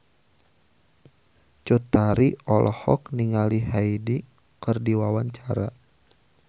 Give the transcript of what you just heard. Cut Tari olohok ningali Hyde keur diwawancara